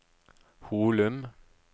Holum